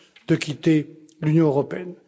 de quitter l'Union européenne.